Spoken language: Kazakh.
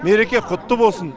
мереке құтты болсын